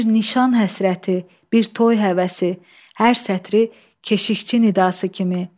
Bir nişan həsrəti, bir toy həvəsi, hər sətri keşixçi nidası kimi.